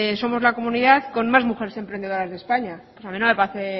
somos la comunidad con más mujeres emprendedoras de españa a mí no me parece